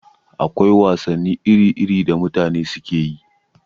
Akwai wasanni iri-iri da mutane suke yi.